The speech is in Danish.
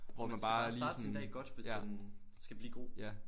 Man skal bare starte sin dag godt hvis den skal blive god